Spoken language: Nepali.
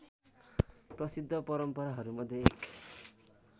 प्रसिद्ध परम्पराहरूमध्ये एक